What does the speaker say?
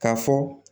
K'a fɔ